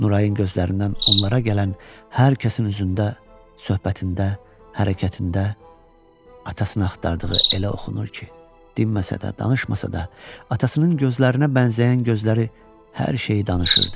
Nurayın gözlərindən onlara gələn hər kəsin üzündə, söhbətində, hərəkətində atasını axtardığı elə oxunur ki, dinməsə də, danışmasa da, atasının gözlərinə bənzəyən gözləri hər şeyi danışırdı.